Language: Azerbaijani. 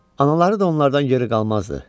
Anaları da onlardan geri qalmazdı.